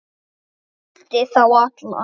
Hann huldi þá alla